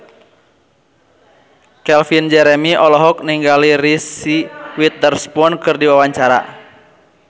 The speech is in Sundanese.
Calvin Jeremy olohok ningali Reese Witherspoon keur diwawancara